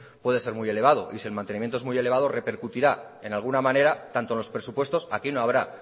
puede ser muy elevado y si el mantenimiento en muy elevado repercutirá en alguna manera tanto en los presupuestos aquí no habrá